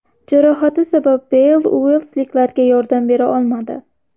Jarohati sabab Beyl uelsliklarga yordam bera olmadi.